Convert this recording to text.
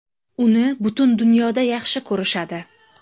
Uni butun dunyoda yaxshi ko‘rishadi.